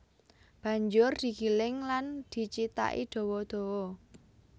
Banjur digiling lan dicithaki dawa dawa